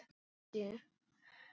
Falleg og ljót.